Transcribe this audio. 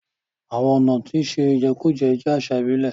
Àwọn ọ̀nà ṣíṣe ìjẹkújẹ jẹ́ àṣà ìbílẹ̀.